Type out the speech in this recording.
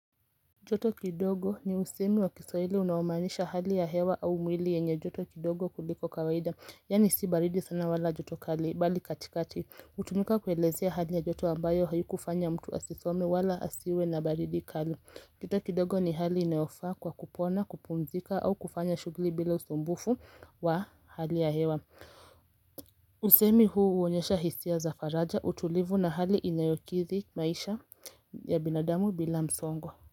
Joto kidogo ni usemi wa kiswahili unaomaanisha hali ya hewa au mwili yenye joto kidogo kuliko kawaida yaani si baridi sana wala joto kali bali katikati hutumika kuelezea hali ya joto ambayo haikufanya mtu asisome wala asiwe na baridi kali joto kidogo ni hali inayofaa kwa kupona kupumzika au kufanya shughuli bila usumbufu wa hali ya hewa Usemi huu huonyesha hisia za faraja utulivu na hali inayokidhi maisha ya binadamu bila msongo.